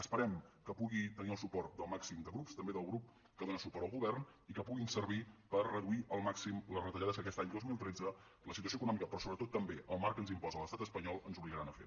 esperem que pugui tenir el suport del màxim de grups també del grup que dóna suport al govern i que puguin servir per reduir al màxim les retallades que aquest any dos mil tretze la situació econòmica però sobretot també el marc que ens imposa l’estat espanyol ens obligaran a fer